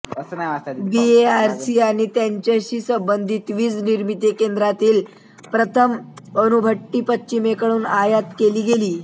BARC आणि त्याच्याशी संबंधित वीज निर्मिती केंद्रातील प्रथम अणुभट्टी पश्चिमेकडून आयात केली गेली